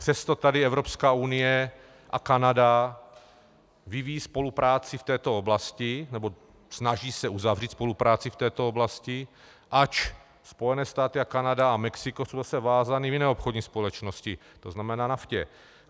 Přesto tady Evropská unie a Kanada vyvíjí spolupráci v této oblasti, nebo snaží se uzavřít spolupráci v této oblasti, ač Spojené státy a Kanada a Mexiko jsou zase vázány v jiné obchodní společnosti, to znamená NAFTA.